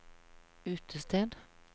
utested